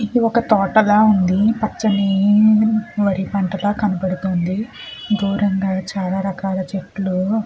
ఇది ఒక తోటలా గా ఉంది పచ్చని నీ వరి పంటగా కనబడుతుంది దూరంగ చాలా రకాలా చెట్లు.